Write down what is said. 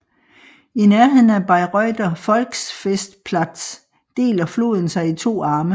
I nærheden af Bayreuther Volksfestplatz deler floden sig i to arme